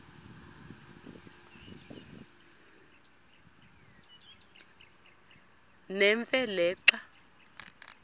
nemfe le xa